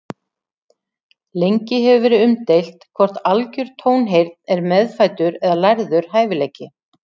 Lengi hefur verið umdeilt hvort algjör tónheyrn er meðfæddur eða lærður hæfileiki.